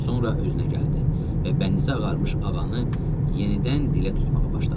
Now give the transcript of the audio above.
Sonra özünə gəldi və bənizi ağarmış ağanı yenidən dilə tutmağa başladı.